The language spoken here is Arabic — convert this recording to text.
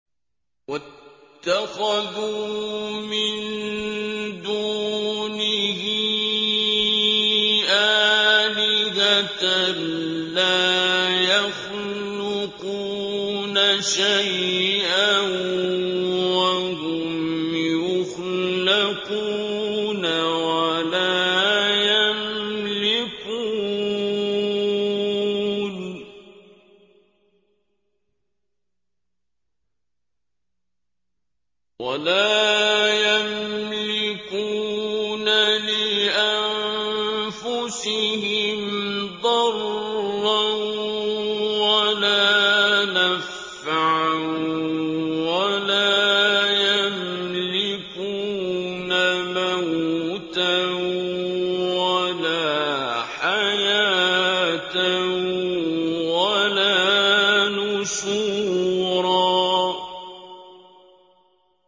وَاتَّخَذُوا مِن دُونِهِ آلِهَةً لَّا يَخْلُقُونَ شَيْئًا وَهُمْ يُخْلَقُونَ وَلَا يَمْلِكُونَ لِأَنفُسِهِمْ ضَرًّا وَلَا نَفْعًا وَلَا يَمْلِكُونَ مَوْتًا وَلَا حَيَاةً وَلَا نُشُورًا